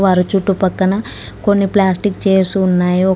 చుట్టూ పక్కన కొన్ని ప్లాస్టిక్ చేర్స్ ఉన్నాయి ఒక--